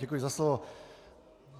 Děkuji za slovo.